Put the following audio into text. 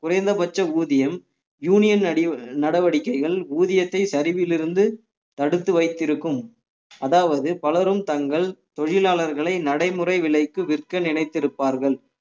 குறைந்தபட்ச ஊதியம் யூனியன் அடி~ நடவடிக்கைகள் ஊதியத்தை சரிவிலிருந்து தடுத்து வைத்திருக்கும் அதாவது பலரும் தங்கள் தொழிலாளர்களை நடைமுறை விலைக்கு விற்க நினைத்திருப்பார்கள்